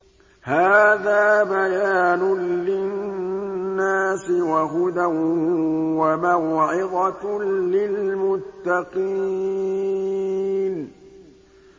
هَٰذَا بَيَانٌ لِّلنَّاسِ وَهُدًى وَمَوْعِظَةٌ لِّلْمُتَّقِينَ